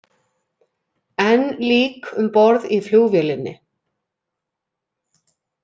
Enn lík um borð í flugvélinni